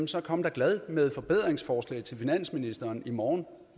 så kom da glad med forbedringsforslag til finansministeren i morgen